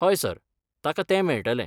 हय, सर, ताका तें मेळटलें.